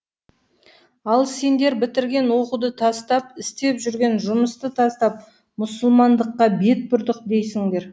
ал сендер бітірген оқуды тастап істеп жүрген жұмысты тастап мұсылмандыққа бет бұрдық дейсіңдер